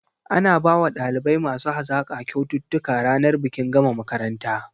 Ana bawa ɗalibai masu hazaƙa kyaututtuka ranar bikin gama makaranta